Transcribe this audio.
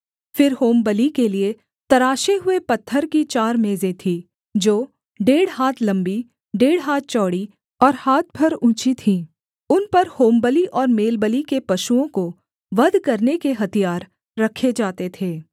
फिर होमबलि के लिये तराशे हुए पत्थर की चार मेजें थीं जो डेढ़ हाथ लम्बी डेढ़ हाथ चौड़ी और हाथ भर ऊँची थीं उन पर होमबलि और मेलबलि के पशुओं को वध करने के हथियार रखे जाते थे